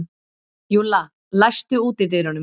Júlla, læstu útidyrunum.